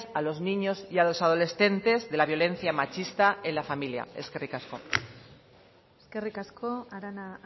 a los niños y a los adolescentes de la violencia machista en la familia eskerrik asko eskerrik asko arana